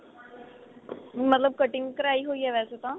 ਮਤਲਬ ਕਟਿੰਗ ਕਰਾਈ ਹੋਈ ਏ ਵੈਸੇ ਤਾਂ